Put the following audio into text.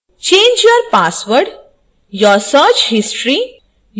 change your password your search history